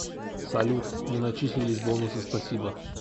салют не начислились бонусы спасибо